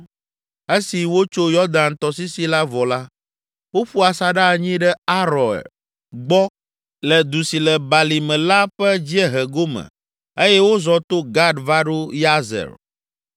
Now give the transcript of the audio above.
Esi wotso Yɔdan tɔsisi la vɔ la, woƒu asaɖa anyi ɖe Aroer gbɔ le du si le balime la ƒe dziehe gome eye wozɔ to Gad va ɖo Yazer.